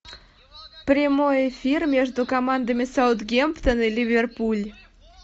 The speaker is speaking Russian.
прямой эфир между командами саутгемптон и ливерпуль